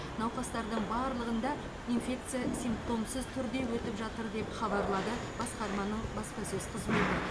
науқастардың барлығында инфекция симптомсыз түрде өтіп жатыр деп хабарлады басқарманың баспасөз қызметі